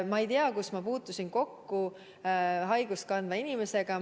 Ma ei tea, kus ma puutusin kokku nakkust kandva inimesega.